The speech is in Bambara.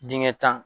Dingɛ tan